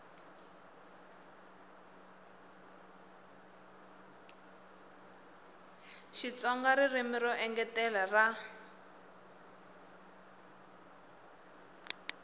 xitsonga ririmi ro engetela ra